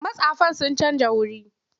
Mastafan sun canja wuri.